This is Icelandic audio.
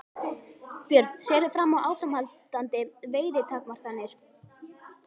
Björn: Sérðu fram á áframhaldandi veiðitakmarkanir?